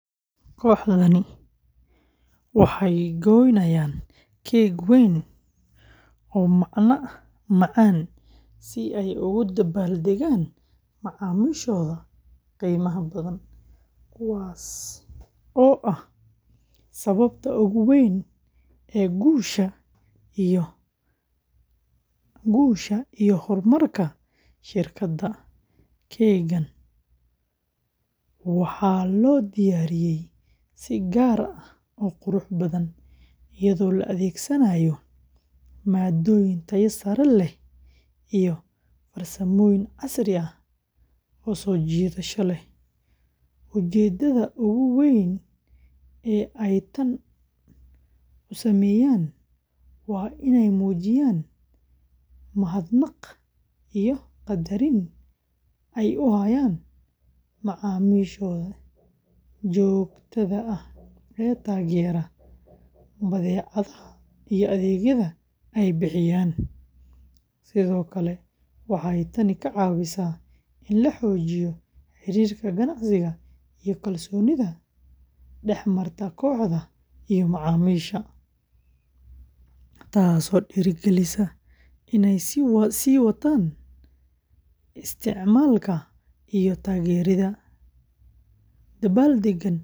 Kooxdani waxay gooynayaan keeg weyn oo macaan si ay ugu dabbaaldegaan macaamiishooda qiimaha badan, kuwaasoo ah sababta ugu weyn ee guusha iyo horumarka shirkadda. Keeggan waxaa loo diyaariyey si gaar ah oo qurux badan, iyadoo la adeegsanayo maaddooyin tayo sare leh iyo farsamooyin casri ah oo soo jiidasho leh. Ujeedada ugu weyn ee ay tan u sameeyaan waa inay muujiyaan mahadnaq iyo qadarin ay u hayaan macaamiishooda joogtada ah ee taageera badeecadaha iyo adeegyada ay bixiyaan. Sidoo kale, waxay tani ka caawisaa in la xoojiyo xiriirka ganacsi iyo kalsoonida dhexmarta kooxda iyo macaamiisha, taasoo dhiirrigelisa inay sii wataan isticmaalka iyo taageerada.